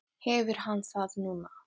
Fréttamaður: Hefur hann það núna?